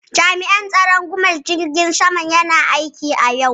Jami'an tsaron tashar jirgin saman Gumel na kan aiki a yau.